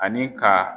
Ani ka